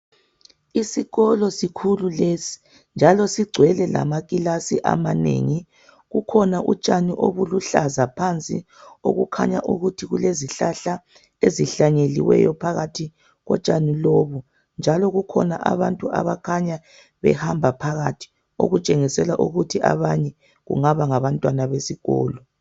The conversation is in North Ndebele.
Isikolo sikhulu lesi njalo sigcwele lamakilasi amanengi kukhona utshani obuluhlaza phansi okukhanya ukuthi kulezihlahla ezihlanyeliweyo phakathi kotshani lobu njalo kukhona abantu abakhanya behamba phakathi okutshengisela ukuthi abanye kungaba ngabantwana besikolo.